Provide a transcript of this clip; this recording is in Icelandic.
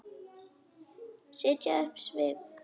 Setja upp svip?